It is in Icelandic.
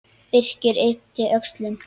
Birkir yppti öxlum.